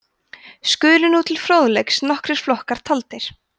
skulu nú til fróðleiks nokkrir flokkar taldir